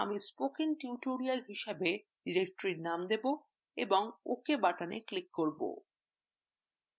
আমি spoken tutorial হিসেবে directory name দেবো এবং ok button click করব